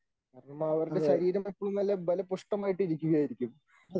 അവരുടെ ശരീരം എപ്പോഴും നല്ല ബലപുഷ്ഠമായിട്ട് ഇരിക്കുകയായിരിക്കും.